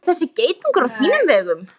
Er þessi geitungur á þínum vegum?